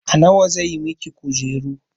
A nawa zai miki kujeru?